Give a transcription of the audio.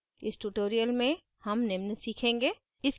इस tutorial में हम निम्न सीखेंगे